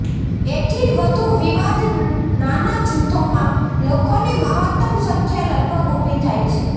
એથીય વધુ વિવાદ નાના જૂથોમાં લોકોની મહત્તમ સંખ્યા લગભગ ઊભી થાય છે